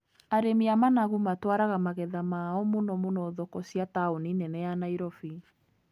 Arĩmi a managu matwaraga magetha ma o mũno mũno thoko cia taũni nene ya Nairobi.